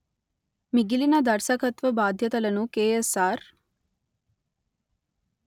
మిగిలిన దర్శకత్వ బాధ్యతలను కెఎస్ఆర్